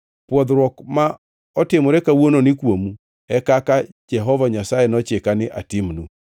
Pwodhruok ma otimore kawuononi kuomu e kaka Jehova Nyasaye nochika ni atimnu.